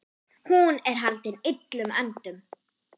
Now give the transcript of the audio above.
Hún er haldin illum öndum.